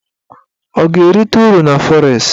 Ọ ga-erite uru na fọres?